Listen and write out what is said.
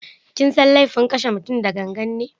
Kisan kai laifin kashe mutum da gangan ne.